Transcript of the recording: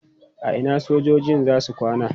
A ina sojojin za su kwana?